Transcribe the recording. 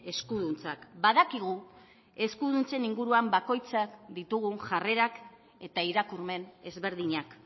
eskuduntzak badakigu eskuduntzen inguruan bakoitzak ditugun jarrerak eta irakurmen ezberdinak